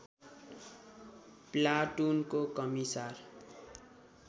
प्लाटुनको commissar